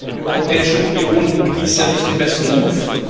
Die Europäische Union genießt ja nicht den besten Ruf.